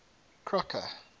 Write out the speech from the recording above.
crocker